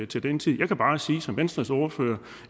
til den tid jeg kan bare sige som venstres ordfører